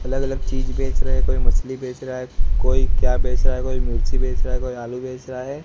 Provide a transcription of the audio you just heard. अलग अलग चीज बेच रहे है कोई मछली बेच रहा है कोई क्या बेच रहा है कोई मिर्ची बेच रहा है कोई आलू बेच रहा है।